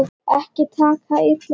Ekki taka það illa upp.